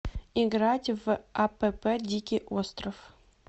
играть в апп дикий остров